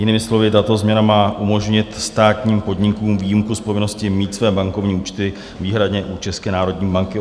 Jinými slovy, tato změna má umožnit státním podnikům výjimku z povinnosti mít své bankovní účty výhradně u České národní banky.